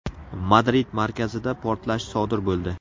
Madrid markazida portlash sodir bo‘ldi.